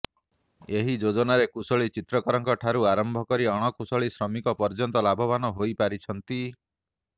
ଏହି ଯୋଜନାରେ କୁଶଳି ଚିତ୍ରକରଙ୍କଠାରୁ ଆରମ୍ଭ କରି ଅଣକୁଶଳି ଶ୍ରମିକ ପର୍ଯ୍ୟନ୍ତ ଲାଭବାନ ହୋଇପାରିଛନ୍ତି